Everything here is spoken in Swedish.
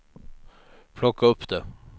plocka upp det